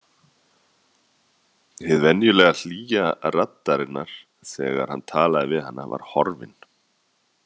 Hin venjulega hlýja raddarinnar þegar hann talaði við hana var horfin.